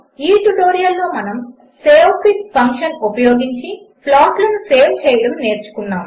ఈ ట్యుటోరియల్లో మనము savefig ఫంక్షన్ ఉపయోగించి ప్లాట్లను సేవ్ చేయడము నేర్చుకున్నాము